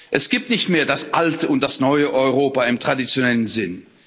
Es gibt nicht mehr das alte und das neue Europa im traditionellen Sinn.